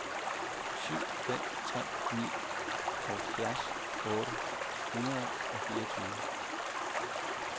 syv fem tre ni halvfjerds otte hundrede og fireogtyve